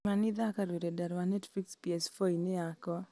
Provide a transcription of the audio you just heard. kĩmani thaaka rũrenda rwa netflix p.s.four-inĩ yakwa